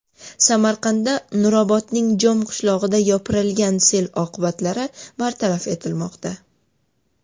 Samarqandda Nurobodning Jom qishlog‘iga yopirilgan sel oqibatlari bartaraf etilmoqda .